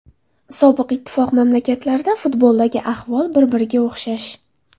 Sobiq Ittifoq mamlakatlarida futboldagi ahvol bir-biriga o‘xshash.